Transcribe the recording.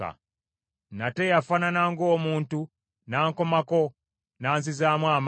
Nate eyafaanana ng’omuntu n’ankomako n’anzizaamu amaanyi.